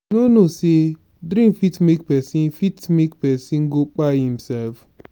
you no know sey drink fit make pesin fit make pesin go kpai imsef?